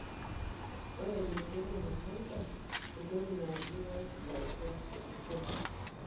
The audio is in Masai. Ore leukemia na cancer entoki naaji white blood cells tosesen.